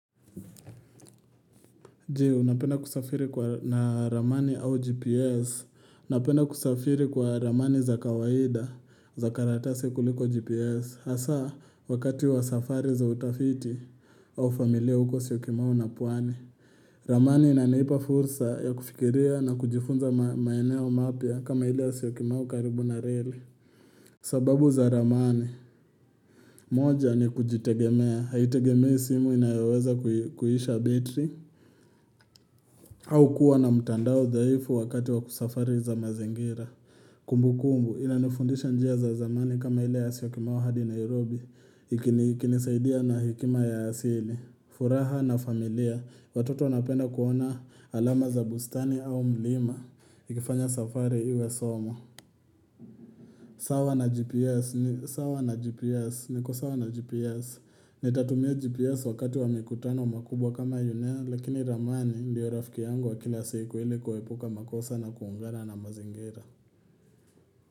Je? Unapenda kusafiri kwa na ramani au GPS? Napenda kusafiri kwa ramani za kawaida za karatasi kuliko GPS hasa wakati wa safari za utafiti au familia huko Syokimau na pwani ramani inanipa fursa ya kufikiria na kujifunza maeneo mapya kama ile ya Syokimau karibu na reli sababu za ramani; moja ni kujitegemea haitegemei simu inayoweza kuisha betri au kuwa na mtandao dhaifu wakati wa kusafari za mazingira. Kumbukumbu, inanifundisha njia za zamani kama ile ya Syokimau hadi Nairobi, ikinisaidia na hekima ya asili, furaha na familia, watoto wanapenda kuona alama za bustani au mlima, ikifanya safari iwe somo. Sawa na gps, sawa na gps, niko sawa na gps nitatumia gps wakati wa mikutano makubwa kama yunea lakini ramani ndio rafiki yangu wa kila siku ili kuepuka makosa na kuungana na mazingira.